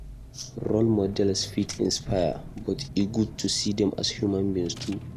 Role models fit inspire, but e good to see dem as human beings too.